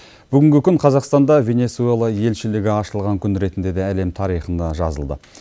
бүгінгі күн қазақстанда венесуэла елшілігі ашылған күн ретінде де әлем тарихына жазылды